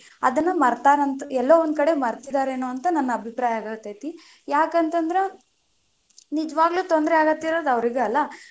ಅದನ್ನ ಮರತಾರಂತ, ಎಲ್ಲೊ ಒಂದ ಕಡೆ ಮರತಿದಾರೆನೊ ಅಂತ ನನ್ನ ಅಭಿಪ್ರಾಯ ಆಗತೇತಿ, ಯಾಕಂತದ್ರ ನಿಜವಾಗ್ಲು ತೊಂದರೆಯಾಗತ್ತಿರುದು ಅವ್ರಿಗೆ ಅಲ್ಲಾ.